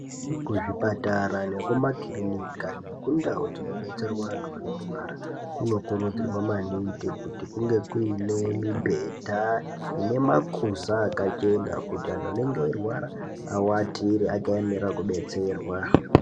Kuzvipatara nekumakirinika nekundau dzinodetserwa antu anorwara kunokurudzirwa maningi kuti kunge kuinemibhedha ine makuza akachena kuti antu anenge eirwara awatire akaemera kudetserwa.